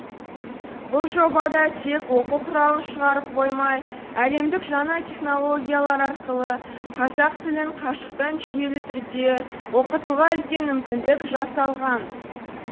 бұл жобада тек оқу құралын шығарып қоймай әлемдік жаңа технологиялар арқылы қазақ тілін қашықтан жүйелі түрде оқытуға үлкен мүмкіндік жасалған